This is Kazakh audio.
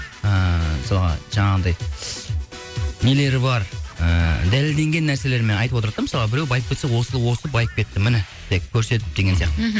ііі соған жаңағындай нелері бар ііі дәлелденген нәрселермен айтып отырады да мысалы біреу байып кетсе осы байып кетті міне деп көрсетіп деген сияқты мхм